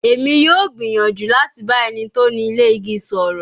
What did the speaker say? Emi yoo gbiyanju lati ba eni to ni ile igi sọrọ